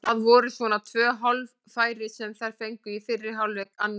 Það voru svona tvö hálffæri sem þær fengu í fyrri hálfleik, annað ekki.